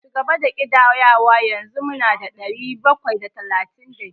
Cigaba da ƙidayawa, yanzu mu na da ɗari bakwai da talatin da biyar.